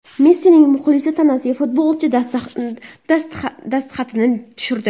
Messining muxlisi tanasiga futbolchi dastxatini tushirdi.